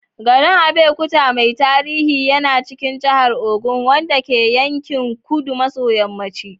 Garin Abeokuta mai tarihi yana cikin jihar Ogun, wanda ke yankin kudu maso yamma.